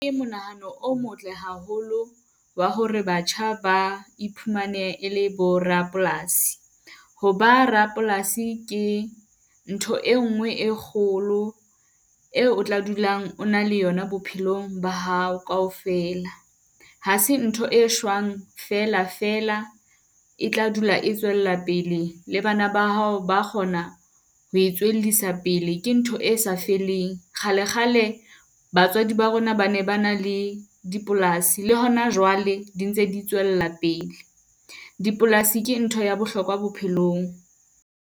Ke monahano o motle haholo wa hore batjha ba iphumane ele bo rapolasi. Ho ba rapolasi ke ntho e nngwe e kgolo eo o tla dulang o na le yona bophelong ba hao kaofela. Hase ntho e shwang fela fela, e tla dula e tswela pele le bana ba hao ba a kgona ho pele, ke ntho e sa feleng. Kgalekgale batswadi ba rona ba ne ba na le dipolasi le hona jwale di ntse di tswella pele. Dipolasi ke ntho ya bohlokwa bophelong.